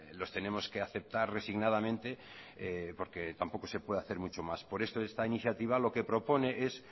los tenemos que aceptar resignadamente porque tampoco se puede hacer muchos más por eso esta iniciativa lo que propone es